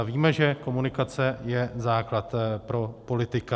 A víme, že komunikace je základ pro politika.